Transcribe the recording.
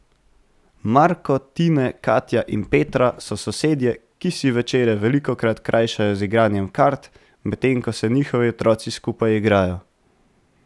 Marko, Tine, Katja in Petra so sosedje, ki si večere velikokrat krajšajo z igranjem kart, medtem ko se njihovi otroci skupaj igrajo.